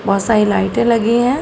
बहुत सारी लाइटें लगी हैं।